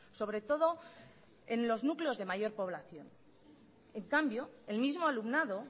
sobre todo en los núcleos de mayor población en cambio el mismo alumnado